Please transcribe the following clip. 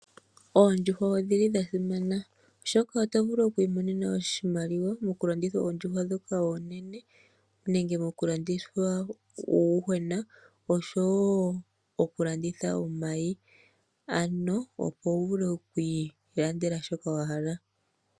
Oondjuhwa odhili dhasimana oshoka oto vulu oku imonena oshimaliwa moku landitha oondjuhwa dhoka oonene. Nenge moku landitha uuyuhwena oshowo oku landitha omayi. Oshowo wu vule okwi landela shoka wahala.